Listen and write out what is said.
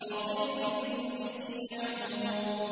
وَظِلٍّ مِّن يَحْمُومٍ